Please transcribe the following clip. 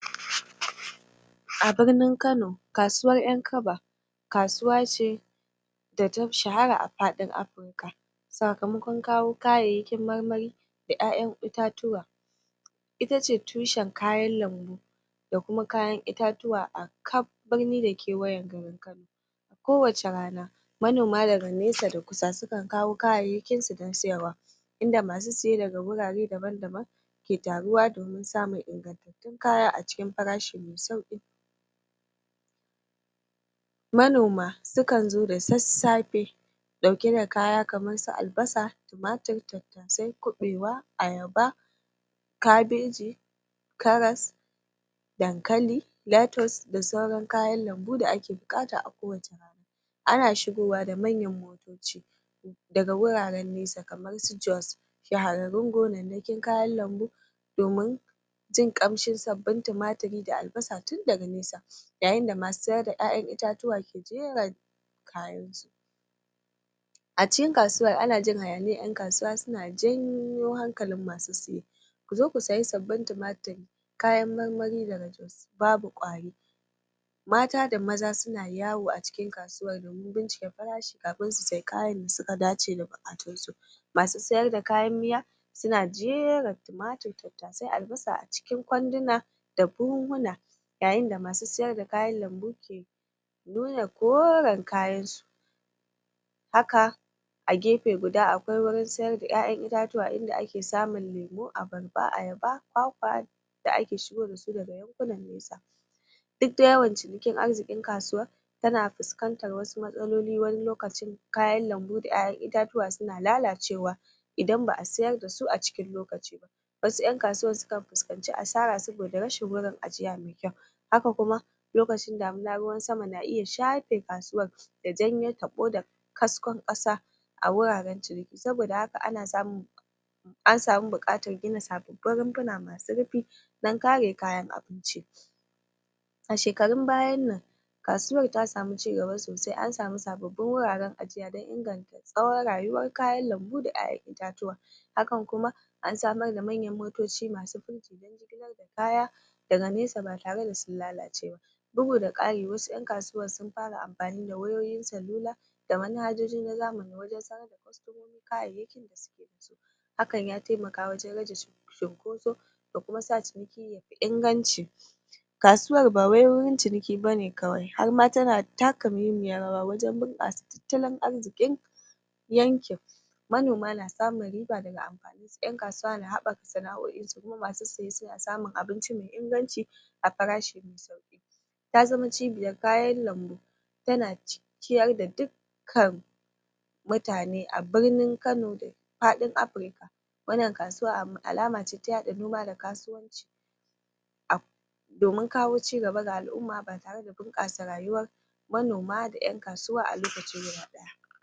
a birnin kano kasuwar ƴan kaba kasuwa ce data shahara a fadin afirika sakamakwan kawo yayayyakin marmari da ƴa'ƴan ita tuwa itace tushan kayan lanbu da kuma kayan itatuwa a kaf birni da kewayan gari ko wacce rana manoma daga nesa da kusa sukan kawo kayayyakinsu ɗan siyarwa inda masu siye daga gurare daban daban ke taruwa domin samun ingantattun kaya a cikin farashi me sauƙi ingantattun kaya a cikin farashi me u manoma sukanzo da sassafe ɗauke da kaya amarsu albasa tumatur tattasai kuɓaiwa ayaba kabeji karas dan kali latas da sauran kayan lanbu da ake bukata a ko wacce rana ana shigowa da manyan motoci daga guraran nesa kamarsu jos shahararrun gonannakin kayan lanbu domin jin ƙamshin sabbin tumaturi da albasa tundaga nesa yayin da masu siyar da ƴa'ƴan itatuwa ke jira kayansu a cikin kasuwar ana jin hayaniyar ƴan kasuwa suna janyo hankalin masu siyowa kuzo ku siyi sabbin tumaturi kayan marmari nagartattu babu ƙwari mata da maza suna yawo a cikin kasuwar su bincika farashi kafin su siyi kayan da suka dace da bukatarsu masu siyar da kayan miya suna jera tumatur da tattasai albasa a cikin kwandina da buhunhuna yayin da masu siyar da kayan lanbu ke nuna koran kayansu haka a gefe guda akwai gurin siyar da ƴa'ƴan itatuwa inda ake samun lemo abarba ayaba kwakwa da ake shigo dasu duk da yawan cinikin arzikin kasuwar tana fuskantar wasu matsaloli wani lokacin kayan lanbu da ƴa'ƴan itatuwa suna lalacewa idan ba a siyar dasu a cikin lokaci ba wasu ƴan kasuwar sukan fuskanci asara saboda rashin gurin ajiya me kyau haka kuma lokacin damuna ruwan sama na iya shafe kasuwar da jan taɓo kaskon kasa a wuraran ciniki saboda haka ana samun ansamu buƙatar gina sababbin runfuna masu rufi dan kare kayan abinci a shekarun bayan nan kasuwar ta samu cigaba sosai ansamu sababbin wuraran ajiya na inganta tsawan rayuwar kayan lanbu da ƴa\ƴan itatuwa hakan kuma ansamar da manyan motoci masu kaya daga nesa ba tare da sun lalace ba bugu da kari wasu ƴan kasuwar sun fara amfani da wayoyin salula da manhajuji na zamani wajan siyo kayayyaki hakan ya taimaka wajan rage cinkoso da kuma sa ciniki yayi inganci kasuwar ba wai wurin ciniki bane kawai harma tana taka muhimmiyar rawa wajan bunkasa tattalin arzikin yankin manoma na samun riba daga amfanin ƴan kasuwa na habaka sana'o insu masu siye suna samun abinci me inganci a farashi ta zama cibiyar kayan lanbu tana cikkiyar da dukkan mutane a birnin kano da fadin afirica wannan kasuwa alamace ta yaɗa nema da kasuwanci domin kawo cigaba ga al'umma ba tare da bunkasa rayuwar manoma da ƴan kasuwa a lokaci guda ɗaya